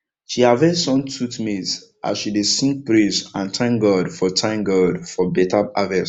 she harvest sun tooth maize as she dey sing praise and thank god for thank god for better harvest